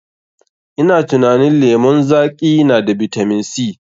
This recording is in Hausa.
Ina tunanin lemon zaƙi na da bitamin C.